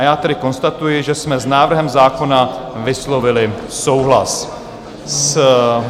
A já tedy konstatuji, že jsme s návrhem zákona vyslovili souhlas.